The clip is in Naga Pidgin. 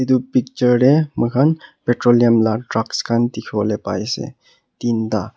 etu picture teh moikhan petroleum lah trucks khan dikhi bole pari ase tin tah.